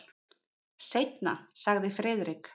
Seinna sagði Friðrik.